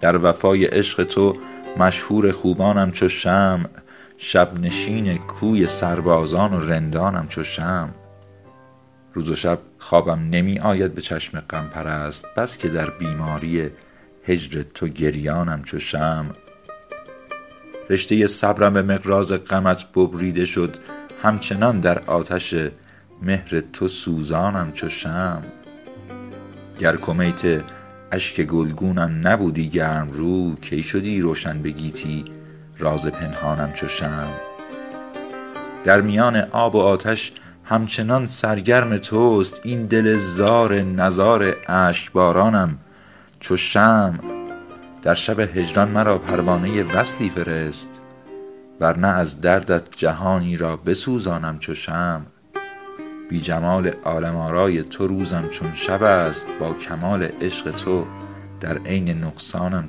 در وفای عشق تو مشهور خوبانم چو شمع شب نشین کوی سربازان و رندانم چو شمع روز و شب خوابم نمی آید به چشم غم پرست بس که در بیماری هجر تو گریانم چو شمع رشته صبرم به مقراض غمت ببریده شد همچنان در آتش مهر تو سوزانم چو شمع گر کمیت اشک گلگونم نبودی گرم رو کی شدی روشن به گیتی راز پنهانم چو شمع در میان آب و آتش همچنان سرگرم توست این دل زار نزار اشک بارانم چو شمع در شب هجران مرا پروانه وصلی فرست ور نه از دردت جهانی را بسوزانم چو شمع بی جمال عالم آرای تو روزم چون شب است با کمال عشق تو در عین نقصانم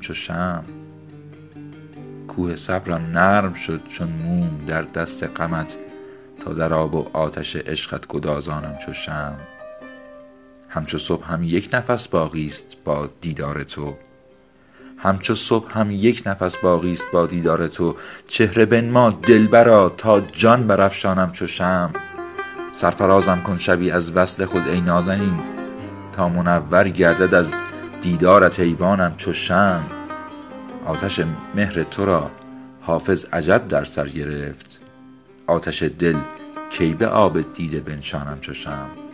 چو شمع کوه صبرم نرم شد چون موم در دست غمت تا در آب و آتش عشقت گدازانم چو شمع همچو صبحم یک نفس باقی ست با دیدار تو چهره بنما دلبرا تا جان برافشانم چو شمع سرفرازم کن شبی از وصل خود ای نازنین تا منور گردد از دیدارت ایوانم چو شمع آتش مهر تو را حافظ عجب در سر گرفت آتش دل کی به آب دیده بنشانم چو شمع